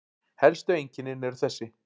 Helstu einkennin eru þessi